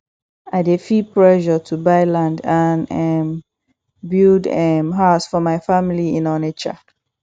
i dey feel pressure to buy land and um build um house for my family in onitsha